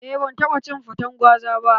Aa, ban taɓa cin faten gwaza ba